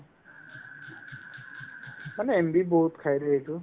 মানে MB বহুত খাইৰে এইটো